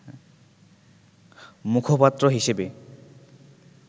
মুখপাত্র হিসেবে